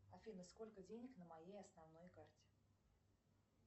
афина сколько денег на моей основной карте